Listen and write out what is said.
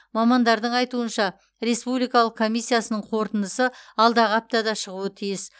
мамандардың айтуынша республикалық комиссиясының қорытындысы алдағы аптада шығуы тиіс